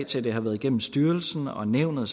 til det har været igennem styrelsen og nævnet